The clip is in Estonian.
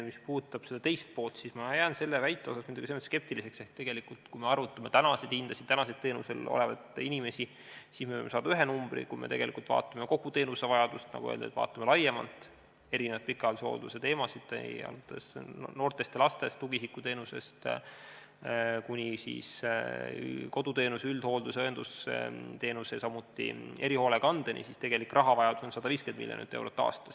Mis puudutab küsimuse teist poolt, siis ma jään selle väite suhtes muidugi selles mõttes skeptiliseks, et kui me arvutame praeguseid hindu ja teenusel olevaid inimesi, siis võime saada ühe numbri, aga kui me vaatame kogu teenusevajadust ja pikaajalise hoolduse teemasid laiemalt – alates noortest ja lastest, tugiisikuteenusest kuni koduteenuse, üldhoolduse, õendusteenuse ja erihoolekandeni välja –, siis tegelik rahavajadus on 150 miljonit eurot aastas.